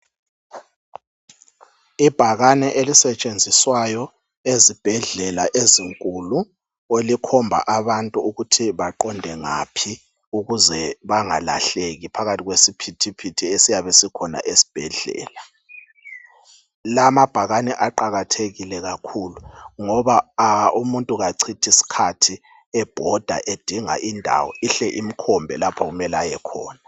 Ibhakane elisetshenziswayo ezibhedlela ezinkulu elikhomba abantu ukuthi baqonde ngaphi ukuze bangalahleki phakathi kwesiphithiphithi esiyabe sikhona esbhedlela. La mabhakane aqakathekile kakhulu ngoba umuntu kachithi skhathi ebhoda edinga indawo. Ihle imkhombe lapho okumele ayekhona.